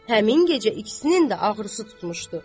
Həmin gecə ikisinin də ağrısı tutmuşdu.